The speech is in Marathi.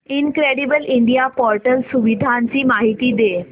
इनक्रेडिबल इंडिया पोर्टल सुविधांची माहिती दे